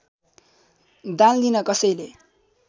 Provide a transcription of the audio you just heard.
दान लिन कसैले